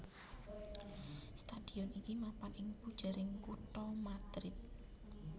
Stadion iki mapan ing pujering kutha Madrid